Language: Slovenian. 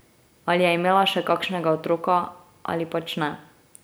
Ali je imela še kakšnega otroka ali pač ne.